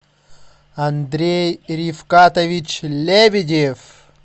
андрей рифкатович лебедев